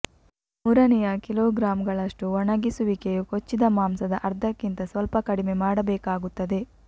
ಮೂರನೆಯ ಕಿಲೋಗ್ರಾಂಗಳಷ್ಟು ಒಣಗಿಸುವಿಕೆಯು ಕೊಚ್ಚಿದ ಮಾಂಸದ ಅರ್ಧ ಕ್ಕಿಂತ ಸ್ವಲ್ಪ ಕಡಿಮೆ ಮಾಡಬೇಕಾಗುತ್ತದೆ